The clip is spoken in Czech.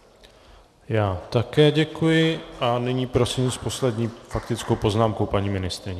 Já také děkuji a nyní prosím s poslední faktickou poznámkou paní ministryni.